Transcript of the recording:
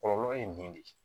Kɔlɔlɔ ye nin ye de